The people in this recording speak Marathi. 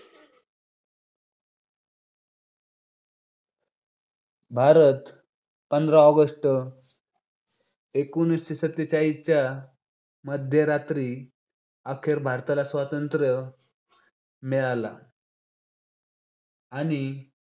भारत पंधरा ऑगस्ट, एकोणीस सत्तेचाळीसच्या मध्यरात्री अखेर भारताला स्वातंत्र्य मिळाला आणि